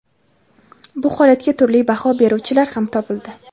Bu holatga turli baho beruvchilar ham topildi.